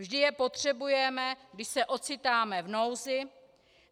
Vždy je potřebujeme, když se ocitáme v nouzi.